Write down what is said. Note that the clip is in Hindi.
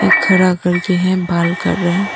ये खड़ा करती है बाल कर रहे--